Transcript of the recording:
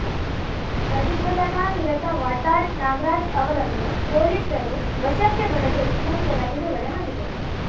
ಪ್ರತಿಭಟನಾನಿರತ ವಾಟಾಳ್‌ ನಾಗರಾಜ್ ಅವರನ್ನು ಪೊಲೀಸರು ವಶಕ್ಕೆ ಪಡೆದು ನಂತರ ಬಿಡುಗಡೆ ಮಾಡಿದರು